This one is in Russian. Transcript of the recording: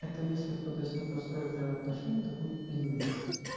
это если кто-то с ней построит реальные отношения это будет пиздец